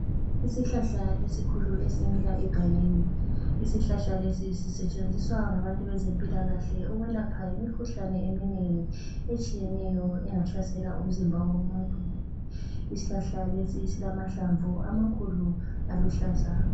Isihlahla esikhulu esimila egangeni. Isihlahla lesi sisetshenziswa ngabantu bezempilakahle ukwelapha imikhuhlane eminengi etshiyeneyo engahlasela umzimba womuntu. Isihlahla lesi silamahlamvu amakhulu aluhlaza.